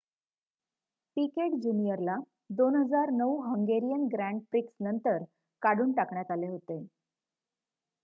पीकेट जूनियरला 2009 Hungarian grand prix नंतर काढून टाकण्यात आले होते